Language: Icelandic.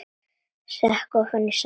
Sekk ofan í sætið.